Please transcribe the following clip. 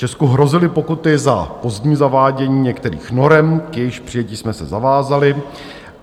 Česku hrozily pokuty za pozdní zavádění některých norem, k jejichž přijetí jsme se zavázali.